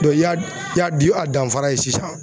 i y'a i y'a danfara ye sisan.